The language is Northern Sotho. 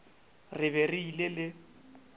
re be re ile le